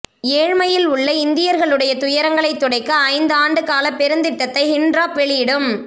ஏழ்மையில் உள்ள இந்தியர்களுடைய துயரங்களைத் துடைக்க ஐந்து ஆண்டு கால பெருந்திட்டத்தை ஹிண்ட்ராப் வெளியிடும்